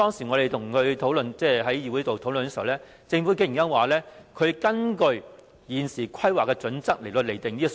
我們在議會討論時，政府竟然說它是根據現時的規劃準則來釐定這個數目。